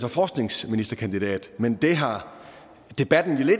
og forskningsministerkandidat men det har debatten jo